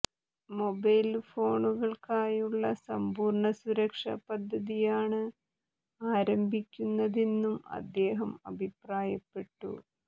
mobile ഫോണുകള്ക്കായുള്ള സമ്പൂര്ണ്ണ സുരക്ഷാ പദ്ധതിയാണ് ആരംഭിക്കുന്നതെന്നും അദ്ദേഹം അഭിപ്രായപ്പെട്ടു